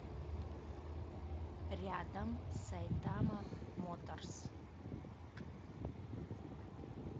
рядом сайтама моторс